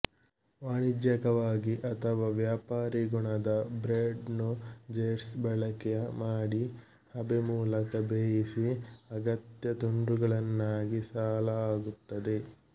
ವಾಣಿಜ್ಯಕವಾಗಿ ಅಥವಾ ವ್ಯಾಪಾರಿ ಗುಣದ ಬ್ರೆಡ್ ನ್ನು ಜೆಟ್ಸ್ ಬಳಕೆ ಮಾಡಿ ಹಬೆ ಮೂಲಕ ಬೇಯಿಸಿ ಅಗತ್ಯ ತುಂಡುಗಳನ್ನಾಗಿಸಲಾಗುತ್ತದೆ